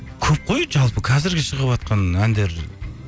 көп қой жалпы қазіргі шығыватқан әндер